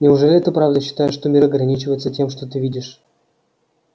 неужели ты правда считаешь что мир ограничивается тем что ты видишь